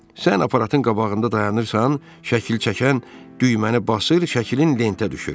Sən aparatın qabağında dayanırsan, şəkil çəkən düyməni basır, şəklin lentə düşür.